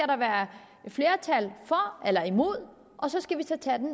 der være flertal for eller imod og så skal vi tage den